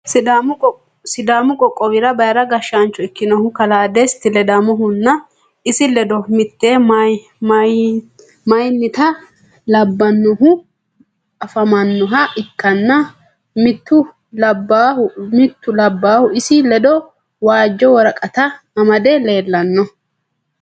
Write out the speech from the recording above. sidaamu qoqowira bayira gashaancho ikinnohu kalaa Desiti Leddamohunna isi leddo mitte mayitina labaahu afamanoha ikanna mittu labaahu isi leddo waajo woraqata amadde leelanno.